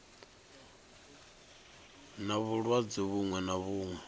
na vhulwadze vhuṅwe na vhuṅwe